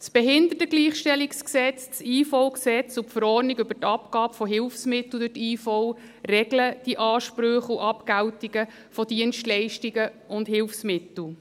Das BehiG, das Bundesgesetz über die Invalidenversicherung (IVG) und die Verordnung des EDI über die Abgabe von Hilfsmitteln durch die Invalidenversicherung (HVI) regeln die Ansprüche und die Abgeltung von Dienstleistungen und Hilfsmitteln.